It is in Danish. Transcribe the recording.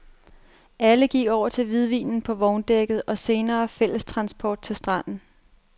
Alle gik over til hvidvinen på vogndækket og senere fællestransport til stranden.